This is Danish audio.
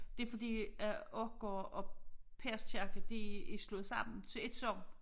Det fordi at Aak og og Peders Kirke de er slået sammen til ét sogn